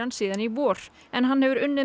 síðan í vor en hann hefur unnið